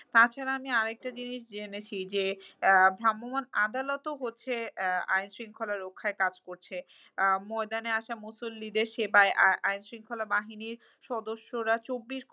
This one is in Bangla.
তাছাড়া আমি আরেকটা জিনিস জেনেছি যে, আহ ভ্রামমান আদালতও হচ্ছে আইনশৃঙ্খলা রক্ষায় কাজ করছে। আহ ময়দানে আসা মুসল্লিদের সেবায় আহ আইনশৃঙ্খলা বাহিনীর সদস্যরা চব্বিশ